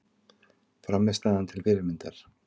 Frammistaðan til fyrirmyndar